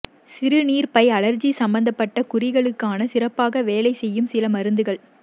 சிறுநீர்ப்பை அழற்சி சம்பந்தப்பட்ட குறிகளுக்கான சிறப்பாக வேளை செய்யும் சில மருந்துகள்